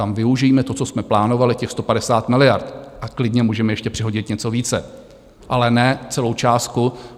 Tam využijme to, co jsme plánovali, těch 150 miliard, a klidně můžeme ještě přihodit něco více, ale ne celou částku.